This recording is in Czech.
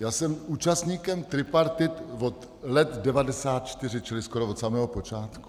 Já jsem účastníkem tripartit od roku 1994, čili skoro od samého počátku.